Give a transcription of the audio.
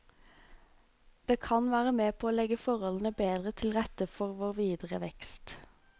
Det kan være med på å legge forholdene bedre til rette for vår videre vekst.